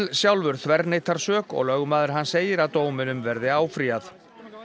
sjálfur þverneitar sök og lögmaður hans segir að dóminum verði áfrýjað